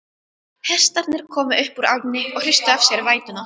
Hestarnir komu upp úr ánni og hristu af sér vætuna.